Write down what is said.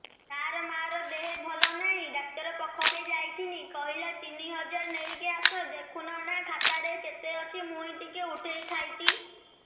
ତାର ମାର ଦେହେ ଭଲ ନାଇଁ ଡାକ୍ତର ପଖକେ ଯାଈଥିନି କହିଲା ତିନ ହଜାର ନେଇକି ଆସ ଦେଖୁନ ନା ଖାତାରେ କେତେ ଅଛି ମୁଇଁ ଟିକେ ଉଠେଇ ଥାଇତି